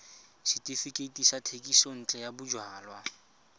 setefikeiti sa thekisontle ya bojalwa